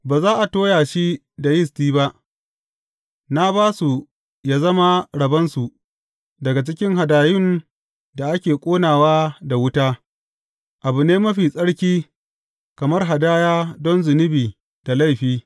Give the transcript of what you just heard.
Ba za a toya shi da yisti ba; na ba su yă zama rabonsu daga cikin hadayun da ake ƙonawa da wuta, abu ne mafi tsarki, kamar hadaya don zunubi da laifi.